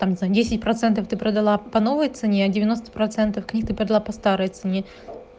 там за десять процентов ты продала по новой цене а девяносто процентов книг ты продала по старой цене